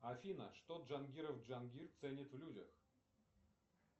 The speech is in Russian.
афина что джангиров джангир ценит в людях